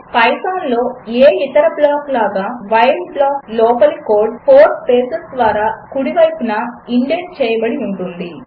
పైథాన్లో ఏ ఇతర బ్లాకు లాగా వైల్ బ్లాకు లోపలి కోడ్ 4 స్పేసెస్ ద్వారా కుడివైపున ఇండెంట్ చేయబడి ఉంటుంది